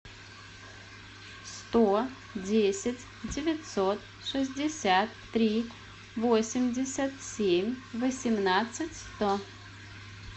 сто десять девятьсот шестьдесят три восемьдесят семь восемнадцать сто